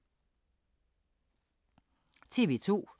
TV 2